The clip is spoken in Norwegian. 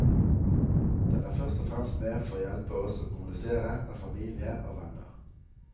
Den er først å fremst med for å hjelpe oss å kommunisere med familie og venner.